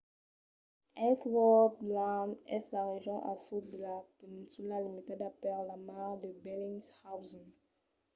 ellsworth land es la region al sud de la peninsula limitada per la mar de bellingshausen